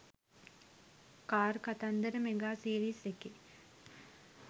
car කතන්දර mega series එකේ